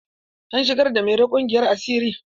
An shigar da mairo ƙungiyar asiri.